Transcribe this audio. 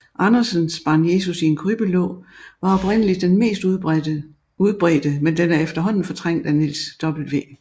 Andersens Barn Jesus i en krybbe lå var oprindeligt den mest udbredte men den er efterhånden fortrængt af Niels W